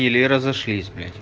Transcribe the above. или разошлись блять